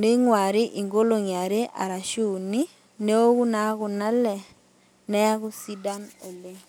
ningwari inkolongi are arashu uni , neoku naa kuna ale , neaku sidan oleng.